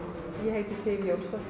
og heiti Sif